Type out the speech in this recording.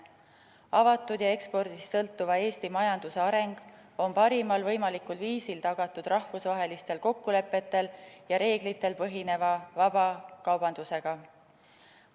Avatud ja ekspordist sõltuva Eesti majanduse areng on parimal võimalikul viisil tagatud rahvusvahelistel kokkulepetel ja reeglitel põhineva vaba kaubandusega.